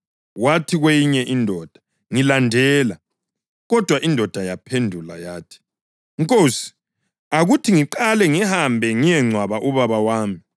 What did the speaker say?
Wathi kwenye indoda, “Ngilandela.” Kodwa indoda yaphendula yathi, “Nkosi, akuthi ngiqale ngihambe ngiyengcwaba ubaba wami.”